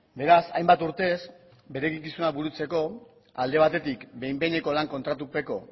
beraz hainbat urtez bere eginkizuna burutzeko alde batetik behin behineko lan kontratupeko